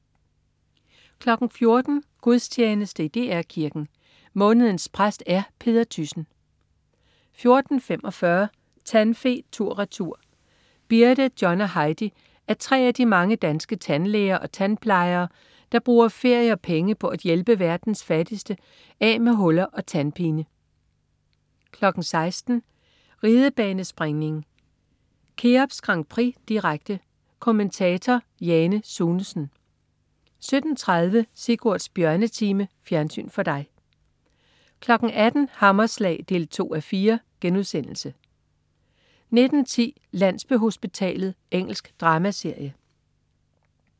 14.00 Gudstjeneste i DR Kirken. Månedens præst er Peder Thyssen 14.45 Tandfe tur/retur. Birte, John og Heidi er tre af de mange danske tandlæger og tandplejere, der bruger ferie og penge på at hjælpe verdens fattige af med huller og tandpine 16.00 Ridebanespringning: Keops Grand Prix, direkte. Kommentator: Jane Sunesen 17.30 Sigurds Bjørnetime. Fjernsyn for dig 18.00 Hammerslag 2:4* 19.10 Landsbyhospitalet. Engelsk dramaserie